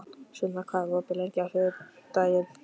Sunna, hvað er opið lengi á þriðjudaginn?